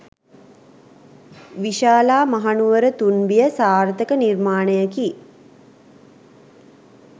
විශාලා මහනුවර තුන්බිය සාර්ථක නිර්මාණයකි.